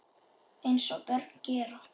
Eins og börn gera.